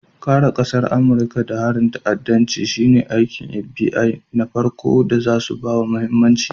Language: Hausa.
Kare ƙasar Amurika daga harin ta'addanci shine aikin FBI na farko da zasu bawa mahimmanci.